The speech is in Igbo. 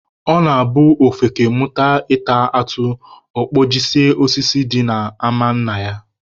Ọ na-abụ ofeke mụta ịta atụ, ọ kpajisie osisi dị n'ama nna ya